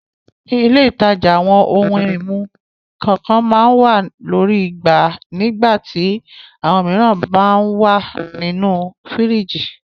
Ní ilé-ìtajà àwọn ohun-ìmu kànkan máa ń wà lórí igbá nígbà tí àwọn mìíràn máa ń wà nínú fíríjì.